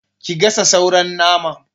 Ki gasa sauran naman!